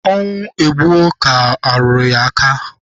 Ọnwụ egbuo ka a rụrụ aka.